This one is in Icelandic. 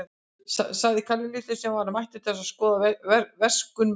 sagði Kalli litli, sem var mættur til þess að skoða verksummerki.